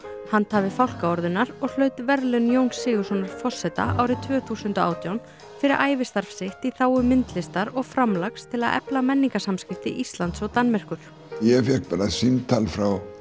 handhafi fálkaorðunnar og hlaut verðlaun Jóns Sigurðssonar forseta árið tvö þúsund og átján fyrir ævistarf sitt í þágu myndlistar og framlags til að efla menningarsamskipti Íslands og Danmerkur ég fékk bara símtal frá